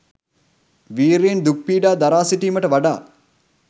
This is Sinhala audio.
විර්යයෙන් දුක් පීඩා දරා සිටීමට වඩා